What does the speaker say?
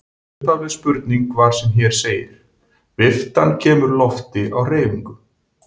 Upphafleg spurning var sem hér segir: Viftan kemur lofti á hreyfingu.